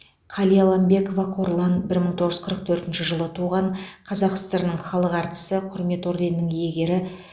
қалиламбекова қорлан бір мың тоғыз жүз қырық төртінші жылы туған қазақ сср інің халық артисі құрмет орденінің иегері